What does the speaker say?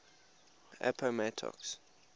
appomattox